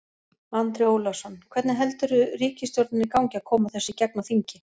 Andri Ólafsson: Hvernig heldurðu ríkisstjórninni gangi að koma þessu í gegn á þingi?